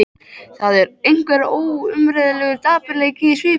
Það er einhver óumræðilegur dapurleiki í svipnum.